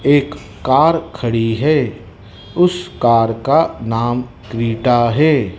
एक कार खड़ी है उस कार का नाम क्रेटा है।